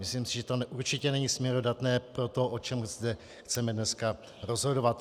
Myslím si, že to určitě není směrodatné pro to, o čem zde chceme dneska rozhodovat.